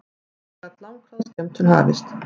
Síðan gat langþráð skemmtun hafist.